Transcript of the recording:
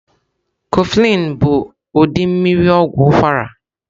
Kofflin bu udị mmiri ogwu ukwara.